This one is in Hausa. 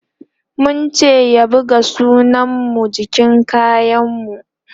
mun ce ya buga sunan mu jikin kayan mu